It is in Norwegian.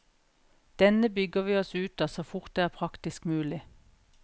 Denne bygger vi oss ut av så fort det er praktisk mulig.